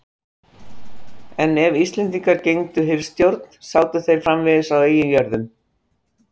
en ef íslendingar gegndu hirðstjórn sátu þeir framvegis á eigin jörðum